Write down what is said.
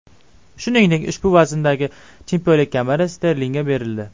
Shuningdek, ushbu vazndagi chempionlik kamari Sterlingga berildi.